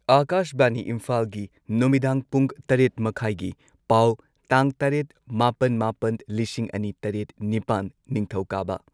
ꯑꯥꯀꯥꯁꯕꯥꯅꯤ ꯏꯝꯐꯥꯜꯒꯤ ꯅꯨꯃꯤꯗꯥꯡ ꯄꯨꯡ ꯇꯔꯦꯠ ꯃꯈꯥꯢꯒꯤ ꯄꯥꯎ ꯇꯥꯡ ꯇꯔꯦꯠ ꯃꯥꯄꯟ ꯃꯥꯄꯟ ꯂꯤꯁꯤꯡ ꯑꯅꯤ ꯇꯔꯦꯠ ꯅꯤꯄꯥꯟ, ꯅꯤꯡꯊꯧꯀꯥꯕ